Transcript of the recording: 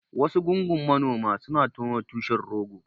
Wasu gungun manoma suna tono tushen rogo.